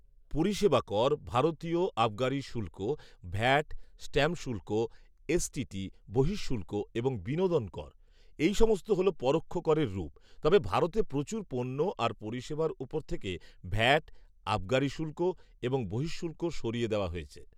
পরিষেবা কর, ভারতীয় আবগারি শুল্ক, ভ্যাট, স্ট্যাম্প শুল্ক, এসটিটি, বহিঃশুল্ক এবং বিনোদন কর, এই সমস্ত হল পরোক্ষ করের রূপ, তবে ভারতে প্রচুর পণ্য আর পরিষেবার ওপর থেকে ভ্যাট, আবগারি শুল্ক এবং বহিঃশুল্ক সরিয়ে দেওয়া হয়েছে।